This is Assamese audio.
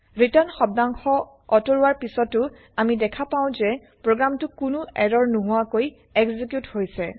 ৰিটাৰ্ণ শব্দাংশ অতৰুৱাৰ পিছতো আমি দেখা পাও যে প্ৰগ্ৰেম টো কোনো এৰৰ নোহোৱাকৈ এক্সেকিউত হৈছে